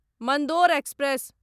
Mandore express